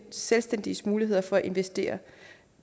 selvstændiges muligheder for at investere